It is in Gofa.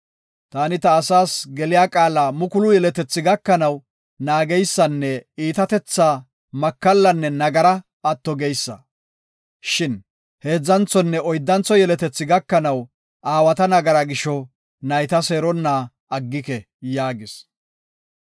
Taani, ta asaas geliya qaala mukulu yeletethi gakanaw naageysanne iitatethaa, makallanne nagaraa atto geysa. Shin heedzanthonne oyddantho yeletethi gakanaw aawata nagara gisho nayta seeronna aggike” yaagis.